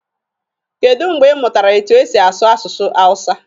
kedụ mgbe ị mụtara etu e si asu asụsụ hawụsa?